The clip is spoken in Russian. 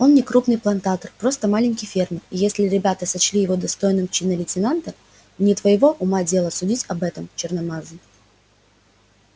он не крупный плантатор просто маленький фермер и если ребята сочли его достойным чина лейтенанта не твоего ума дело судить об этом черномазый